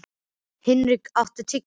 Hnikar, áttu tyggjó?